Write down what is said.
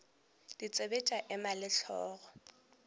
ditsebe tša ema le hlogo